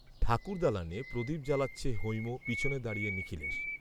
ঠাকুর দালানে প্রদীপ জ্বালাচ্ছে হৈম পিছনে দাঁড়িয়ে নিখিলেশ